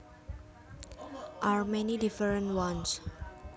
are many different ones